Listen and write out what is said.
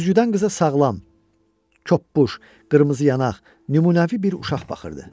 Güzgüdən qıza sağlam, koppuş, qırmızı yanaq, nümunəvi bir uşaq baxırdı.